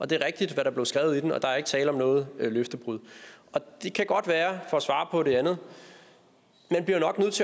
det er rigtigt hvad der blev skrevet i den og der er ikke tale om noget løftebrud det kan godt være for at svare på det andet